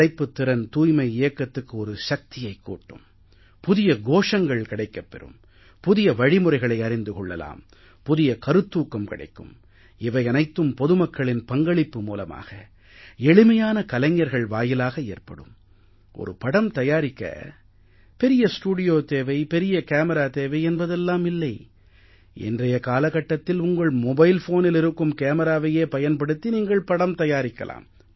படைப்புத் திறன் தூய்மை இயக்கத்துக்கு ஒரு சக்தியைக் கூட்டும் புதிய கோஷங்கள் கிடைக்கப் பெறும் புதிய வழிமுறைகளை அறிந்து கொள்ளலாம் புதிய கருத்தூக்கம் கிடைக்கும் இவை அனைத்தும் பொதுமக்களின் பங்களிப்பு மூலமாக எளிமையான கலைஞர்கள் வாயிலாக ஏற்படும் ஒரு படம் தயாரிக்க பெரிய ஸ்டூடியோ தேவை பெரிய கேமிரா தேவை என்பதெல்லாம் இல்லை இன்றைய காலகட்டத்தில் உங்கள் மொபைல் ஃபோனில் இருக்கும் கேமிராவையே பயன்படுத்தி நீங்கள் படம் தயாரிக்கலாம்